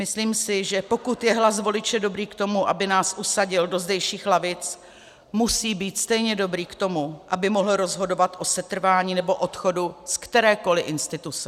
Myslím si, že pokud je hlas voliče dobrý k tomu, aby nás usadil do zdejších lavic, musí být stejně dobrý k tomu, aby mohl rozhodovat o setrvání, nebo odchodu z kterékoli instituce.